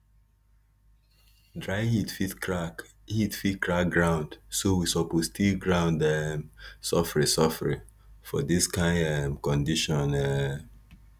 dry heat fit crack heat fit crack ground so we suppose till ground um sofri sofri for dis kain um condition um